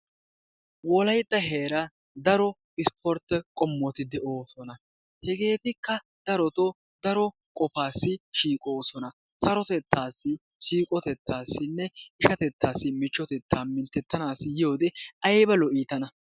Wolayitta heera daro isportte qommoti de"oosona. Hegeetikka daroto daro qofaassi shiiqoosona sarotettaassi siiqotettaassinne ishatettaasi michchotetaa minttetanaassi yiyode ayiba lo"i tana.